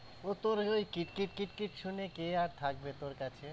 ও তোদের ওই কিট কিট কিট শুনে কে আর থাকবে তোর কাছে?